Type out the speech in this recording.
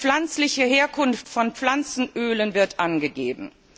Die pflanzliche Herkunft von Pflanzenölen wird angegeben.